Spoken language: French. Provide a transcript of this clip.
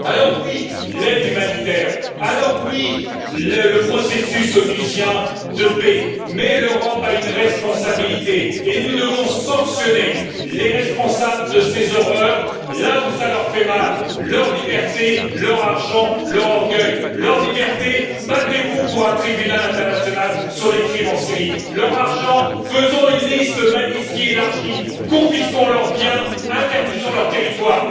Oui à l'aide humanitaire, oui au processus de paix onusien, mais l'Europe a une responsabilité et nous devons sanctionner les responsables de ces horreurs là où cela leur fait mal leur liberté, leur argent, leur orgueil. Leur liberté, battez vous pour un tribunal international sur les crimes en Syrie leur argent, faisons une liste Magnitski élargie, confisquons leurs biens, interdisons leur territoire